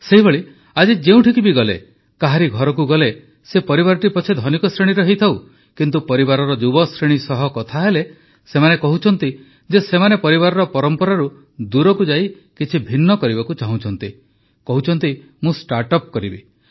ସେହିଭଳି ଆଜି ଯେଉଁଠି ବି ଗଲେ କାହାରି ଘରକୁ ଗଲେ ସେ ପରିବାରଟି ପଛେ ଧନିକ ଶ୍ରେଣୀର ହୋଇଥାଉ କିନ୍ତୁ ପରିବାରର ଯୁବଶ୍ରେଣୀ ସହ କଥା ହେଲେ ସେମାନେ କହୁଛନ୍ତି ଯେ ସେମାନେ ପରିବାରର ପରମ୍ପରାରୁ ଦୂରକୁ ଯାଇ କିଛି ଭିନ୍ନ କରିବାକୁ ଚାହୁଁଛନ୍ତି କହୁଛନ୍ତି ମୁଁ ଷ୍ଟାର୍ଟ ଅପ୍ କରିବି